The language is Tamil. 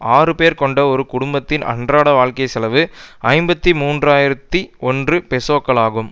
ஆறு பேர் கொண்ட ஒரு குடும்பத்தின் அன்றாட வாழ்க்கை செலவு ஐம்பத்தி மூன்று ஆயிரத்தி ஒன்று பெசோக்களாகும்